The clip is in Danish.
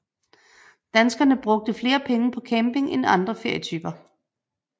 Danskerne brugte flere penge på camping end andre ferietyper